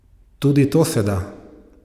Tudi to se da!